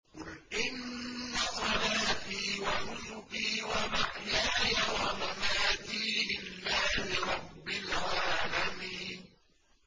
قُلْ إِنَّ صَلَاتِي وَنُسُكِي وَمَحْيَايَ وَمَمَاتِي لِلَّهِ رَبِّ الْعَالَمِينَ